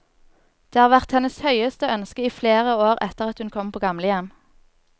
Det har vært hennes høyeste ønske i flere år etter at hun kom på gamlehjem.